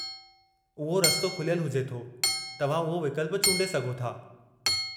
उहो रस्तो खुलियलु हुजे थो, तव्हां उहो विकल्पु चूंडे सघो था।